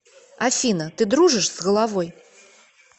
афина ты дружишь с головой